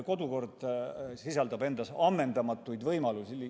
Kodukord sisaldab endas ammendamatuid võimalusi.